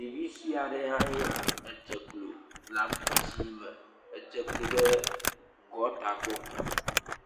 Ɖevi sue aɖe hãe ya, edze klo le awu dzɛ̃ me. Edze klo ɖe gɔɔta gbɔ.